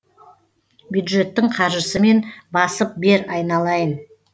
бюджеттің қаржысымен басып бер айналайын